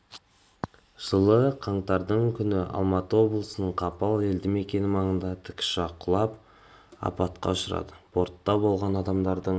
жылы қаңтардың күні алматы облысының қапал елді мекені маңына тікүшақ құлап апатқа ұшырады бортта болған адамдардың